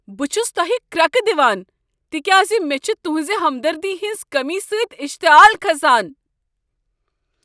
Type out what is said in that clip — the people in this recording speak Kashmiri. بہٕ چھس تۄہہ كرٛكہٕ دِوان تکیاز مےٚ چھُ تہنٛزِ ہمدردی ہنٛز کٔمی سۭتۍ اشتعال كھسان۔